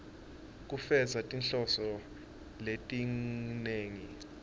kufeza tinhloso letinengi